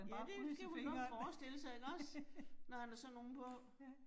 Ja det det kunne man godt forestille sig ikke også? Når han har sådan nogle på